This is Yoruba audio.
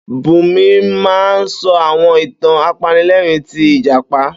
Búnmi máa ń sọ àwọn ìtàn apanilẹ́rìn ti ìjàpá.